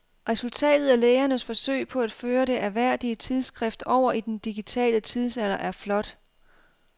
Resultatet af lægernes forsøg på at føre det ærværdige tidsskrift over i den digitale tidsalder er flot.